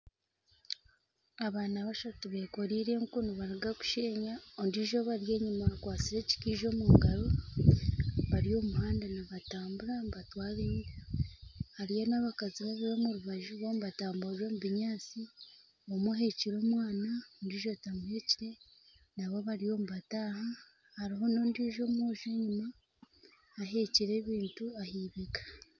Abaana bashatu bekoreire enku nibaruga kusheenya. Ondijo obari enyima akwatsire ekikwijo omu ngaro. Bari omu muhanda nibatambura nibatwara enku. Hariyo n'abakazi babiri omu rubaju bo nibatamburira omu binyaatsi. Omwe aheekire omwana, ondiijo tamuheekire. Nabo bariyo nibataaha. Hariho n'ondijo omwojo enyima aheekire ebintu ah'eibega.